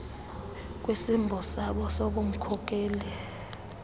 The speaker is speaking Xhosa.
kwisimbo sabo sobunmkokeli